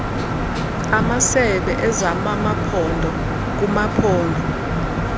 amasebe ezamamaphondo kumaphondo